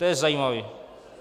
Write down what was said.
To je zajímavé!